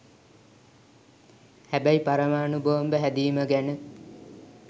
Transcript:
හැබැයි පරමාණු බෝම්බ හැදීම ගැන